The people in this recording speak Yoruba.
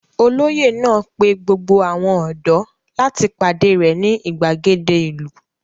Olóyè náà pe gbogbo àwọn ọ̀dọ́ láti pàdé rẹ̀ ní ìgbàgede ìlú?